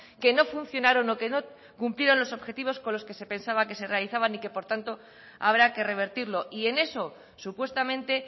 que no funcionaron o que no cumplieron los objetivos con los que se pensaba que se realizaban y que por tanto habrá que revertirlo y en eso supuestamente